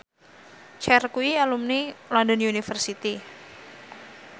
Cher kuwi alumni London University